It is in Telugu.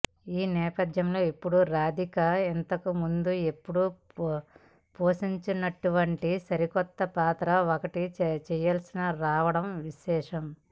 ఈ నేపధ్యంలో ఇప్పుడు రాధిక ఇంతకు ముందు ఎప్పుడూ పోషించనటువంటి సరికొత్త పాత్ర ఒకటి చేయాల్సి రావడం విశేషం